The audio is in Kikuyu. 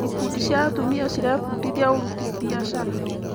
Ikundi cia atumia cirebundithia ũruti biacara.